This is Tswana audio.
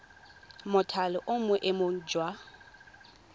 mothale o mo boemong jwa